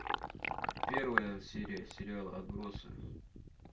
первая серия сериала отбросы